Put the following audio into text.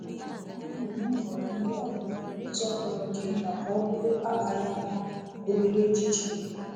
Anyị na-eme nhọrọ ndị a n’ụzọ fọrọ nke nta ka ọ bụrụ akpaghị aka, na obere echiche.